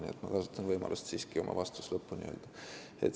Nii et ma kasutan võimalust oma vastus siiski lõpuni öelda.